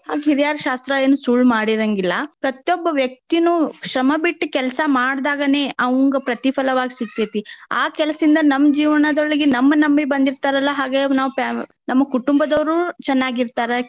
ಹಿರ್ಯಾರ ಶಾಸ್ತ್ರ ಏನ್ ಸುಳ್ ಮಾಡಿರಾಂಗಿಲ್ಲಾ. ಪ್ರತಿಯೊಬ್ಬ ವ್ಯಕ್ತಿನು ಶ್ರಮ ಬಿಟ್ ಕೆಲ್ಸಾ ಮಾಡಿದ್ದಾಗನೆ ಅವಂಗ ಪ್ರತಿಫಲವಾಗಿ ಸಿಗ್ತೆತಿ. ಆ ಕೆಲ್ಸದಿಂದ ನಮ್ಮ ಜೀವನದೊಳಗೆ ನಮ್ ನಂಬಿ ಬಂದಿರ್ತಾರಲ್ಲಾ ಹಾಗೆ ನಾವ್ fa~ ನಮ್ ಕುಟುಂಬದವ್ರು ಚೆನ್ನಾಗಿರ್ತಾರ.